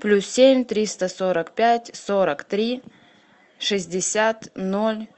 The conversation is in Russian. плюс семь триста сорок пять сорок три шестьдесят ноль